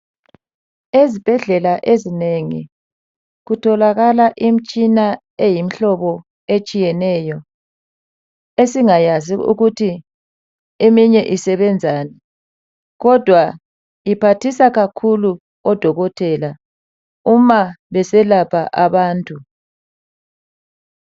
Ezibhedlela ezinengi kutholakala imitshina eyimihlobo etshiyeneyo esingayazi ukuthi eminye isebenzani kodwa iphathisa kakhulu odokotela uma beselapha abantu.